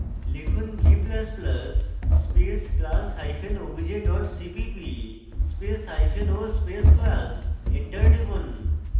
লিখুন g ++ space class hyphen obj dot cpp spaceo space class